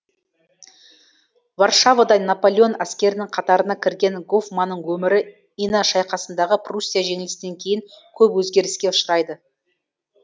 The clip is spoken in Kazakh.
варшавада наполеон әскерінің қатарына кірген гофманның өмірі ина шайқасындағы пруссия жеңілісінен кейін көп өзгеріске ұшырайды